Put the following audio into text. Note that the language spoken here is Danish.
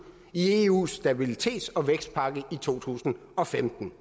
i eus stabilitets og vækstpagt i to tusind og femten